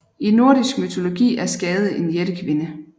I nordisk mytologi er Skade en jættekvinde